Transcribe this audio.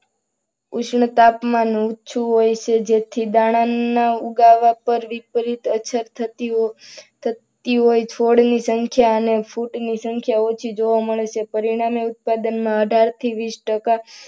ઉષ્ણ તાપમાન ઊંચું હોય છે. જેથી દાણાના ઉગાવા પર વિપરીત અસર થતી હોય. ફળ ની સંખ્યા ઊંટ ની સંખ્યા ઓછી જોવા મળે છે. પરિણામે ઉત્પાદનમાં અઢારથી વીસ ટકા